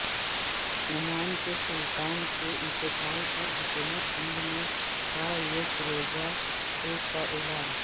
Oman کے سلطان کے انتقال پر حکومت ہند نے کا یک روزہ سوگ کا اعلان